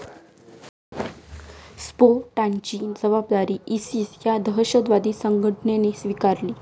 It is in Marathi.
स्फोटांची जबाबदारी इसिस या दहशतवादी संघटनेने स्वीकारली.